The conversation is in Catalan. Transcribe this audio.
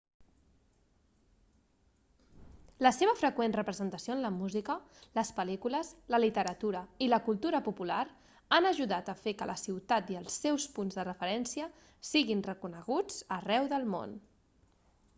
la seva freqüent representació en la música les pel·lícules la literatura i la cultura popular han ajudat a fer que la ciutat i els seus punts de referència siguin reconeguts arreu del món